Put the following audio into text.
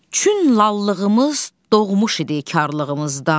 Çün lallığımız doğmuş idi karlığımızdan.